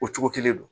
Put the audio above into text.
O cogo kelen don